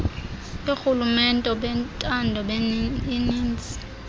yoorhulumente bentando yoninzi